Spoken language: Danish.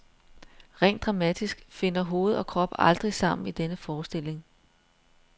Rent dramatisk finder hoved og krop aldrig sammen i denne forestilling.